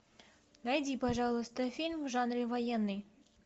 найди пожалуйста фильм в жанре военный